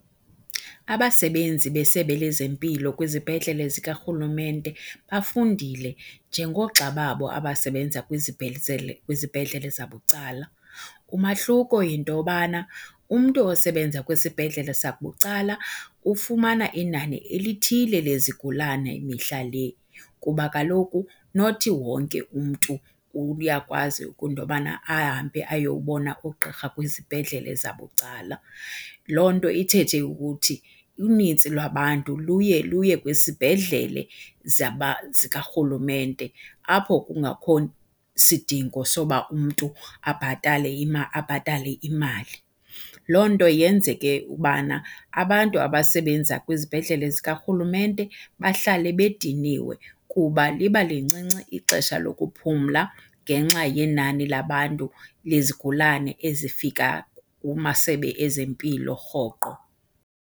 Abasebenzi besebe lezempilo kwizibhedlele zikarhulumente bafundile njengoogxa babo abasebenza kwizibhedlele zabucala. Umahluko yinto yobana umntu osebenza kwisibhedlele sabucala ufumana inani elithile lezigulane mihla le kuba kaloku not wonke umntu uyakwazi into yobana ahambe ayowubona ugqirha kwizibhedlele zabucala. Loo nto ithethe ukuthi unintsi lwabantu luye luye kwisibhedlele zikarhulumente apho kungakho sidingo soba umntu abhatale imali. Loo nto yenze ke ubana abantu abasebenza kwizibhedlele zikarhulumente bahlale bediniwe kuba liba lincinci ixesha lokuphumla ngenxa yenani labantu lezigulane ezifika kumasebe ezempilo rhoqo.